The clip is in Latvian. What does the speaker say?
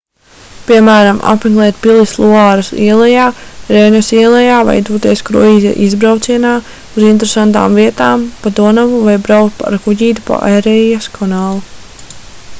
piemēram apmeklēt pilis luāras ielejā reinas ielejā vai doties kruīza izbraucienā uz interesantām vietām pa donavu vai braukt ar kuģīti pa erijas kanālu